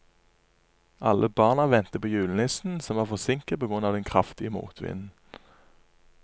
Alle barna ventet på julenissen, som var forsinket på grunn av den kraftige motvinden.